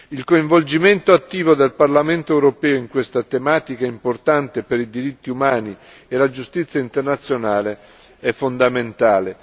Il coinvolgimento attivo del Parlamento europeo in questa tematica importante per i diritti umani e la giustizia internazionale è fondamentale.